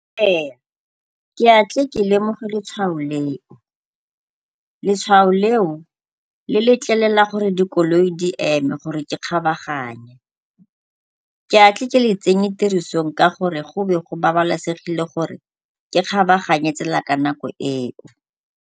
Ee, ke a tle ke lemoge letshwao leo. Letshwao leo le letlelela gore dikoloi di eme gore ke kgabaganye. Ke a tle ke le tsenye tirisong ka gore go be go babalesegile gore ke kgabaganye tsela ka nako eo.